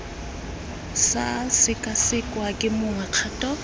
sa sekasekwa ke mongwe kgato